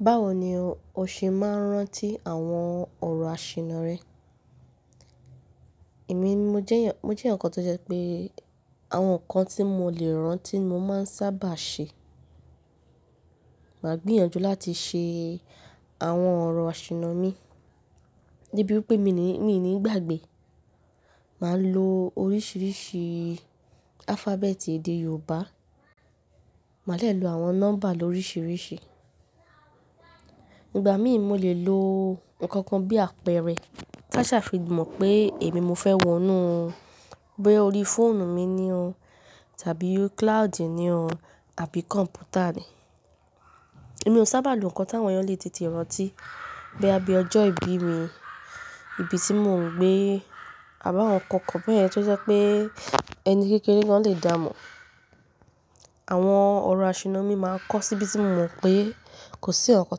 Báwo ni o ṣe máa ń rántí àwọn ọ̀rọ̀ àṣìna rẹ? Èmi mo jẹ́, mo jẹ́ ǹkan tó jẹ́ pé àwọn ǹkan tí mo lè rántí mo máa ń sábà ṣe. Máa gbìyànjú láti ṣe àwọn ọ̀rọ̀ àṣìna mi debi wipé mi ní, mi nì gbàgbé. Màá lo oríṣìíríṣìí alphabeti èdè Yorùbá, màá lè lo àwọn nọ́mbà ló ríṣìíríṣìí. Ìgbà mìí mo lè lo ǹkan kan bí àpẹẹrẹ ta ṣà fi mọ̀ pé èmi mo fẹ́ wọnú, boya orí fóònù mi ni o tàbí cloud ni o àbí kọ̀m̀pútà ni. Èmi ò sábà lo ǹkan tí àwọn èèyàn lè tètè rántí bí i ọjọ́ ìbí mi, ibi tí mò ń gbé àbá àwọn ǹkan kan bẹ́ẹ̀ tó jẹ́ pé ẹni kékeré gan lè dà mọ̀. Àwọn ọ̀rọ̀ àṣìna mi máa ń kọ́ síbi tí mò mọ̀ pé kò sí ǹkankan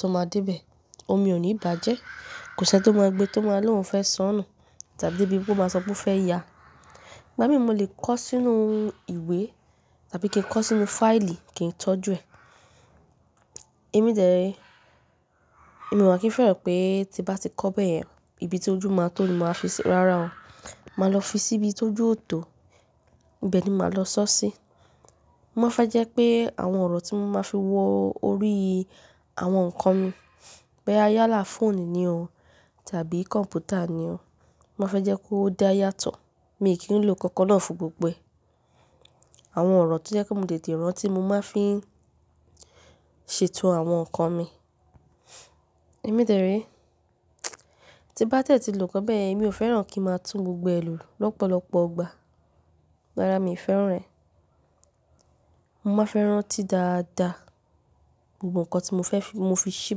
tó máa dé bẹ, omi ò ní bàjẹ́, kò sí ẹni tó mọ ẹgbẹ́ tó máa lòun fẹ́ sọnù tàbí bí pé ó máa sọ pé ó fẹ́ ya. Ìgbà mìí mo lè kọ sínú ìwé tàbí kí n kọ sínú fáìlì kí n tọ́jú ẹ. Èmi de re, èmi omà kìí fẹ́ràn pé tí bá ti kọ bẹ́ẹ̀, ibi tó ju máa tó ni màá fi ṣí, rárá o, màá lọ fi sí ibi tó ju òótọ́, ibẹ́ẹ̀ ni màá lọ sọ́ sí. Mo máa fẹ́ jẹ́ pé àwọn ọ̀rọ̀ tí mo máa fi wọ orí àwọn ǹkan mi bíi yálà fóònù ni o tàbí kọ̀m̀pútà ni o, mo máa fẹ́ jẹ́ kó dá yàtọ̀. Mi kì í lo ǹkan náà fún gbogbo ẹ. Àwọn ọ̀rọ̀ tó jẹ́ pe mo lè tètè rántí mo máa fi ṣètò àwọn ǹkan mi. Èmi dẹ̀ re, tí bá dẹ́ẹ̀ tí lò kan bẹ́ẹyen, èmi ò fẹ́ràn kí n máa tún gbogbo ẹ lù lọ́pọ̀lọpọ̀ ọgbà. Rárá mi ò fẹ́ràn rẹ̀. Mo máa fẹ́ rántí dáadáa gbogbo ǹkan tí mo fẹ́ fi, mo fi ṣí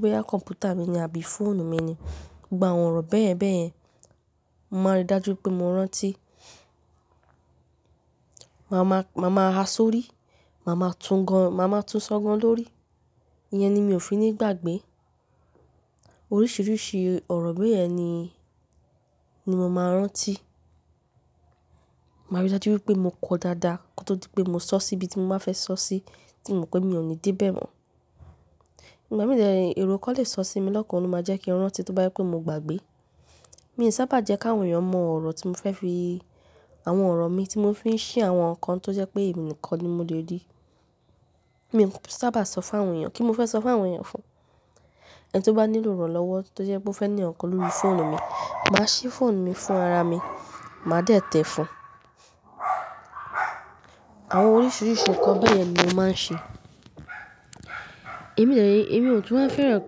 bóyá kọ̀m̀pútà mi ni àbí fóònù mi ni. Gbogbo àwọn ọ̀rọ̀ bẹ́yen bẹ́yen, mo máa rí dájú pé mo rántí. Màá máa, màá máa ha sórí, màá máa tú gan, màá máa tún sọ́ gan lórí. Iyẹn ni mi ò fi ní gbàgbé. Oríṣìíríṣìí ọ̀rọ̀ bẹ́ẹ̀ ni, ni mo máa ń rántí. Màá rí dájú wípé mo kọ dáadáa kó tó di pé mo sọ sí ibi tí mo máa fẹ́ sọ sí tí mò ń pé mi ò ní dé bẹ́ẹ̀ mọ̀. Ìgbà mìí ẹ̀ro kan lè sọ sí mi lọ́kàn, ó máa jẹ́ kí n rántí tó bá jẹ́ pé mo gbàgbé. Mi sábà jẹ́ kí àwọn èèyàn mọ ọ̀rọ̀ tí mo fẹ́ fi, àwọn ọ̀rọ̀ mi tí mo fi ń ṣí àwọn ǹkan tó jẹ́ pé èmi nìkan ni mo lè rí. Mi ò sábà sọ fún àwọn èèyàn kí mo fẹ́ sọ fún àwọn èèyàn fún. Ẹni tó bá nílò iranlọ́wọ́ tó jẹ́ pé ó fẹ́ ní ǹkan lórí fóònù mi, màá ṣí fóònù mi fún ara mi, màá tẹ́tẹ́ ẹ fún. Àwọn oríṣìíríṣìí ǹkan bẹ́ẹ̀ye ni mo máa ń ṣe. Èmi de re, èmi ò tún máa ń fẹ́ràn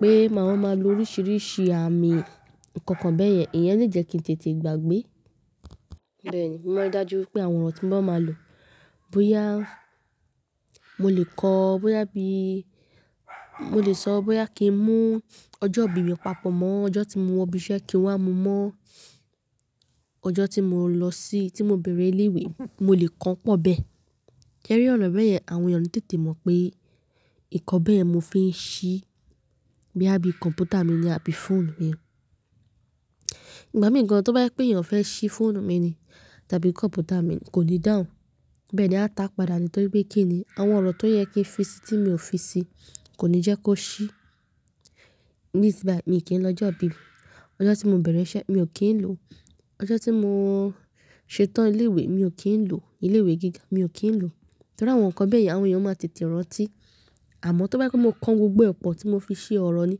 pé màá máa lo oríṣìíríṣìí àmì ǹkan kan bẹ́ẹ̀ yẹn, ìyẹn lè jẹ́ kí n tètè gbàgbé. Bẹ́ẹ̀ ni, mo máa rí dájú wípé àwọn ọ̀rọ̀ tí ń bá máa lò bóyá mo lè kọ, bóyá bí, mo lè sọ bóyá kí n mú ọjọ́ ìbí mi papọ̀ mọ́ ọjọ́ tí mo wọ ibi iṣẹ́ kí n wá mu mọ́ ọjọ́ tí mò ń lọ sí, tí mò ń bẹ̀rẹ̀ ilé ìwé, mo lè kan pọ̀ bẹ́ẹ̀. Se ri ọ̀nà bẹ́ẹ̀ yẹn àwọn èèyàn oni tètè mọ̀ pé ǹkan bẹ́ẹ̀ yen mo fi ń ṣí bí i kọ̀m̀pútà mi ni àbí fóònù mi. Ìgbà mìí tó bá jẹ́ pé èèyàn fẹ́ ṣí fóònù mi ni tàbí kọ̀m̀pútà mi, kò ní dáhùn. Bẹ́ẹ̀ ni, á ta padà nítorí pé kí ni àwọn ọ̀rọ̀ tó yẹ kí n fi sí tí mi ò fi sí kò ní jẹ́ kó ṣí. Tibayii mi kì í lọ ọjọ́ ìbí mi, ọjọ́ tí mò ń bẹ̀rẹ̀ iṣẹ́ mi ò kí ń lò, ọjọ́ tí mò ń ṣetán ilé ìwé mi ò kí ń lò, ilé ìwé gíga mi ò kí ń lò. Nítorí àwọn ǹkan bẹ́ẹ̀ yẹn àwọn èèyàn máa tètè rántí. Àmọ́ tó bá jẹ́ pé mo kan gbogbo ẹ̀pọ̀ tí mo fi ṣí ọ̀rọ̀ ni,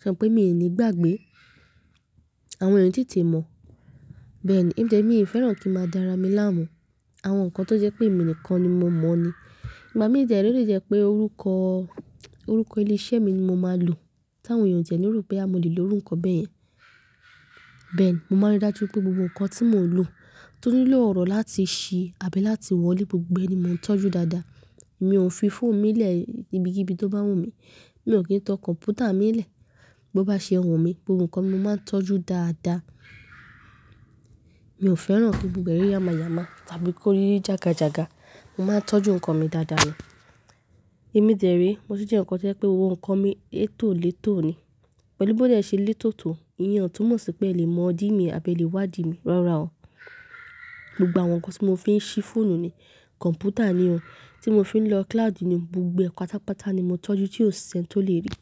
ṣe mo pé mi ò ní gbàgbé. Àwọn èèyàn oni tètè mọ̀. Bẹ́ẹ̀ ni, èmi dẹ̀ mi ò fẹ́ràn kí máa dára mi láàmú. Àwọn ǹkan tó jẹ́ pé èmi nìkan ni mo mọ̀ ni. Ìgbà mìí de re o lè jẹ́ pé orúkọ, orúkọ ilé iṣẹ́ mi ni mo máa lò tí àwọn èèyàn o ti e ní ró boya mo lè lo irú nkọ bẹ́ẹ̀ yẹn. Bẹ́ẹ̀ ni, mo máa rí dájú wípé gbogbo ǹkan tí mò ń lò tó nílò ọ̀rọ̀ láti ṣí àbí láti wọlé gbogbo ẹ ni mò ń tọ́jú dáadáa. Mi ò ń fi fóònù mi lẹ̀ ibikibi tó bá wù mí, mi ò kí ń tan kọ̀m̀pútà mi lẹ̀ bó bá ṣe wu mí. Gbogbo ǹkan mi máa ń tọ́jú dáadáa. Mi ò fẹ́ràn kí gbogbo ẹ̀rí yáma yáma tàbí kó rí jága jága. Mo máa ń tọ́jú ǹkan mi dáadáa ni. Èmi dẹ̀ re, mo tu jẹ́ ǹkan tó jẹ́ pé ohun nkan mi ètò lẹ́tò ni. Pẹ̀lú bóde ṣe lẹ́tò tò, ìyẹn ò tún mọ̀ sí pé ẹ lè mọ̀ dí mi àbí lè wádìí mi. Rárá o. Gbogbo àwọn ǹkan tí mo fi ń ṣí fóònù ni, kọ̀m̀pútà ni o, tí mo fi ń lo cloud ni, gbogbo ẹ pátápátá ni mo tọ́jú tí ò ṣẹ́n tó lè rí.